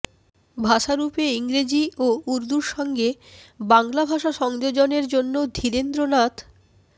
ভাষারূপে ইংরেজি ও উর্দুর সঙ্গে বাংলা ভাষা সংযোজনের জন্য ধীরেন্দ্রনাথ